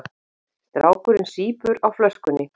Strákurinn sýpur á flöskunni.